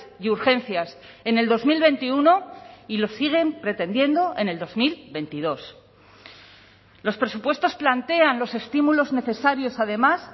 y urgencias en el dos mil veintiuno y lo siguen pretendiendo en el dos mil veintidós los presupuestos plantean los estímulos necesarios además